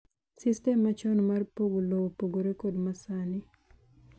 Sistem machon mar pogo lowo opogore kod masan.